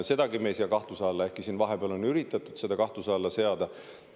Sedagi me ei sea kahtluse alla, ehkki siin vahepeal on üritatud seda kahtluse alla seada.